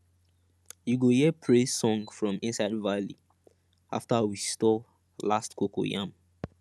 you go hear praise song from inside valley after we store last cocoyam